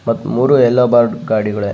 ಮತ್ತ್ ಮುರು ಎಲ್ಲೊ ಬೋರ್ಡ್ ಗಾಡಿಗಳೆ .